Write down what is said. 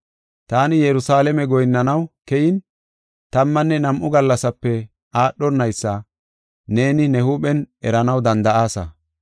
Taani Yerusalaame goyinnanaw keyin tammanne nam7u gallasape aadhonaysa neeni ne huuphen eranaw danda7aasa.